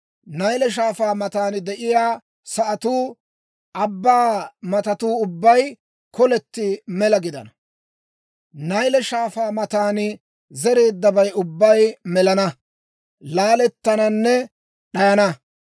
Nayle Shaafaa matan de'iyaa sa'atuu, abbaa matatuu ubbay koletti mela gidana. Nayle Shaafaa matan zereeddabay ubbay melana, laalettananne d'ayana.